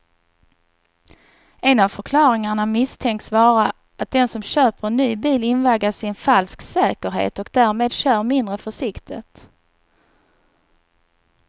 En av förklaringarna misstänks vara att den som köper en ny bil invaggas i en falsk säkerhet och därmed kör mindre försiktigt.